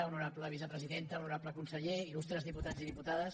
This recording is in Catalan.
honorable vicepresidenta honorable conseller il·lustres diputats i diputades